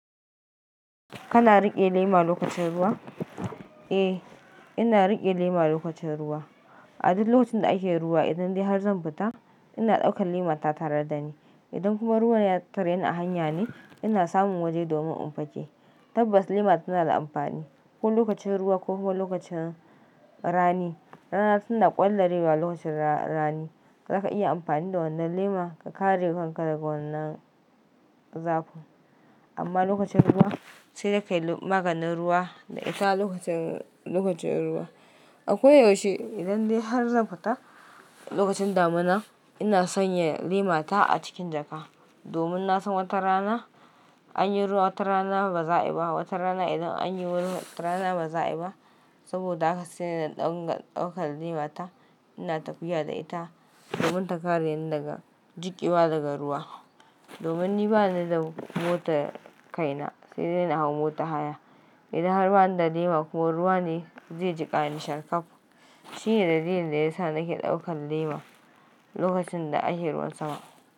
Kana riƙe lema lokacin ruwa? Eh, ina riƙe lema lokacin ruwa. A duk lokacin da ake ruwa, idan dai har zan fita, ina ɗaukan lema ta tare da ni. Idan kuma ruwan ya tarye a hanya ne, ina samun waje domin in fake. Tabbas lema tana da amfani ko lokacin ruwa ko kuma lokacin rani. Rana tana ƙwallarewa lokacin rani. Zaka iya amfani da wannan lema ka kare kanka daga wannan zaku. Amma lokacin ruwa sai dai ka yi maganin ruwa da ita lokacin, lokacin ruwa. A koyaushe idan dai har zan fita lokacin damina, ina sanya lema ta a cikin jaka. Domin na san wata rana an yi ruwa, wata rana ba za a yi ba, wata rana idan an yi ruwa, wata rana ba za a yi ba. Saboda haka sai na dinga ɗaukar lema ta. Ina tafiya da ita domin ta kare ni daga jiƙiwa daga ruwa. Domin ni bani da motar kaina sai dai na hau mota haya. Idan har bani da lema kuwa ruwa ne zai jiƙa ni sharkaf. Shi ne dalilin da yasa nake ɗaukan lema lokacin da ake ruwan sama.